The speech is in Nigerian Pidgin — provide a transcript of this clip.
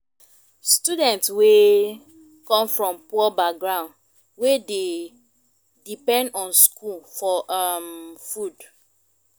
students wey come from poor background wey dey depend on school for um food